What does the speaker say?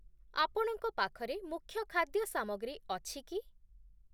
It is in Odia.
ଆପଣଙ୍କ ପାଖରେ ମୁଖ୍ୟ ଖାଦ୍ୟ ସାମଗ୍ରୀ ଅଛି କି?